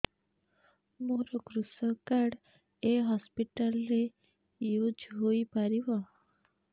ମୋର କୃଷକ କାର୍ଡ ଏ ହସପିଟାଲ ରେ ୟୁଜ଼ ହୋଇପାରିବ